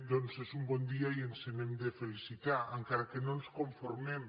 doncs és un bon dia i ens n’hem de felicitar encara que no ens conformem